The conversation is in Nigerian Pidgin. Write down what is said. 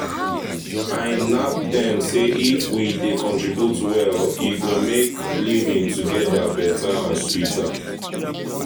i knack dem say if we dey contribute well e go make living together better and sweeter.